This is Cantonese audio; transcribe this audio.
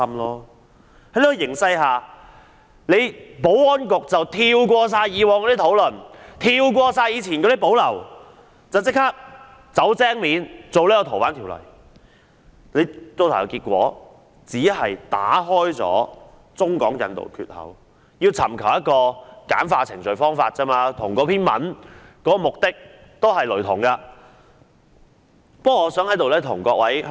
在這個形勢下，保安局不顧以往的討論和顧慮，"走精面"地提出《條例草案》，結果打開了中港引渡的缺口，簡化移交逃犯程序，與那篇文章的目的也是雷同的。